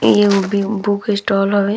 इ एगो बु बुक स्टाल हवे।